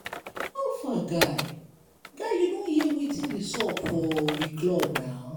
how far guy guy you don hear wetin dey sup for we club na.